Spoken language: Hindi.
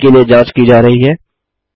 वर्तनी के लिए जाँच की जा रही है